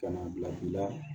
Ka na bila i la